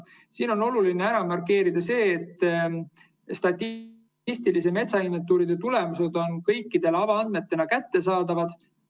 " Siin on oluline markeerida seda, et statistilise metsainventuuri tulemused on kõikidele avaandmetena kättesaadavad.